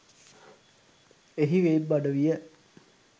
එහි වෙබ් අඩවිය